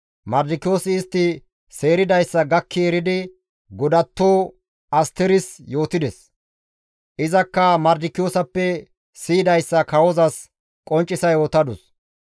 Mardikiyoosi istti seeridayssa gakki eridi godatto Asteris yootides; izakka Mardikiyoosappe siyidayssa kawozas qonccisa yootadus.